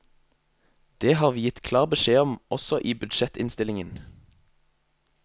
Det har vi gitt klar beskjed om også i budsjettinnstillingen.